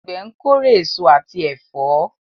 Àgbẹ̀ ń kórè èso àti ẹ̀fọ́.